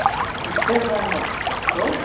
их первая ночь открой